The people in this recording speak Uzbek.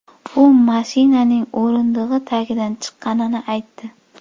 U mashinaning o‘rindig‘i tagidan chiqqanini aytdi.